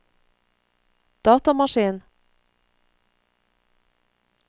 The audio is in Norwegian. datamaskin